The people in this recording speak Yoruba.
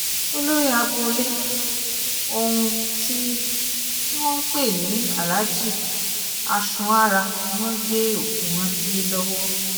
olórí agboolé ohun tí tí wọ́n ń pè ní aláàjì aṣúnára ni wọ́n gbé òkú rántí lé lọ́wọ́